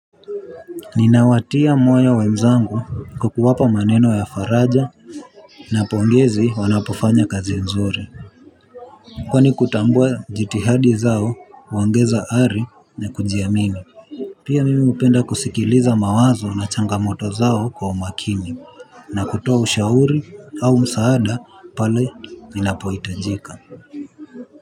Ninawatia moyo wenzangu kwa kuwapa maneno ya faraja. Napongezi wanapofanya kazi nzuri. Kwani kutambua jitihadi zao huongeza ari na kujiamini. Pia mimi hupenda kusikiliza mawazo na changamoto zao kwa umakini. Na kutoa ushauri au msaada pale ninapohitajika.